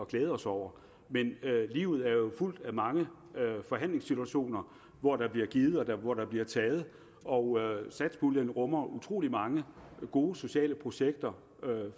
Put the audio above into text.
glæde os over men livet er jo fuldt af mange forhandlingssituationer hvor der bliver givet og hvor der bliver taget og satspuljen rummer utrolig mange gode sociale projekter